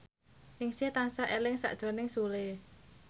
Ningsih tansah eling sakjroning Sule